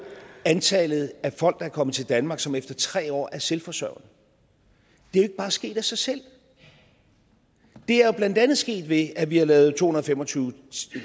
antallet af folk der er kommet til danmark som efter tre år er selvforsørgende det er ikke bare sket af sig selv det er jo blandt andet sket ved at vi har lavet to hundrede og fem og tyve